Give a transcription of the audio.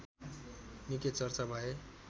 निकै चर्चा भए